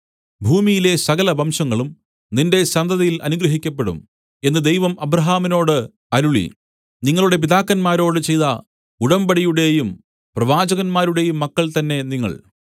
ഭൂമിയിലെ സകലവംശങ്ങളും നിന്റെ സന്തതിയിൽ അനുഗ്രഹിക്കപ്പെടും എന്ന് ദൈവം അബ്രാഹാമിനോട് അരുളി നിങ്ങളുടെ പിതാക്കന്മാരോട് ചെയ്ത ഉടമ്പടിയുടേയും പ്രവാചകന്മാരുടെയും മക്കൾതന്നെ നിങ്ങൾ